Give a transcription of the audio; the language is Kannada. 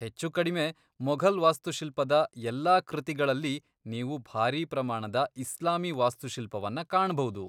ಹೆಚ್ಚುಕಡಿಮೆ ಮೊಘಲ್ ವಾಸ್ತುಶಿಲ್ಪದ ಎಲ್ಲಾ ಕೃತಿಗಳಲ್ಲಿ ನೀವು ಭಾರೀ ಪ್ರಮಾಣದ ಇಸ್ಲಾಮೀ ವಾಸ್ತುಶಿಲ್ಪವನ್ನ ಕಾಣಭೌದು.